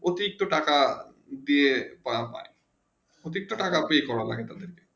প্রথিস্ট থাকা দিয়ে প্রতিষ্ঠা থাকা প্রিয় লাগে